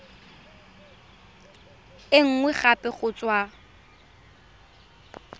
e nngwe gape go tswa